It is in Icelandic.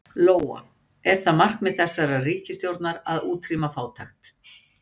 Lóa: Er það markmið þessarar ríkisstjórnar að útrýma fátækt?